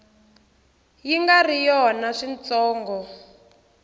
yi nga ri yona switsongo